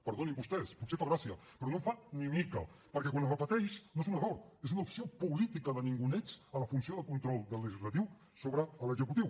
perdonin vostès potser fa gràcia però no en fa ni mica perquè quan es repeteix no és un error és una opció política de ninguneig de la funció de control del legislatiu sobre l’executiu